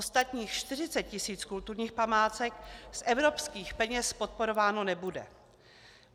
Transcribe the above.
Ostatních 40 tisíc kulturních památek z evropských peněz podporováno nebude.